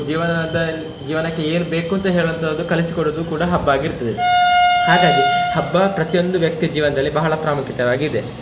ಜೀವನದಲ್~ ಜೀವನಕ್ಕೆ ಏನು ಬೇಕು ಅಂತ ಹೇಳುವಂತದ್ದು ಕಲಿಸಿಕೊಡುದು ಕೂಡ ಹಬ್ಬ ಆಗಿರ್ತದೆ, ಹಾಗಾಗಿ ಹಬ್ಬ ಪ್ರತಿಯೊಂದು ವ್ಯಕ್ತಿಯ ಜೀವನದಲ್ಲಿ ಬಹಳ ಪ್ರಾಮುಖ್ಯತೆವಾಗಿದೆ.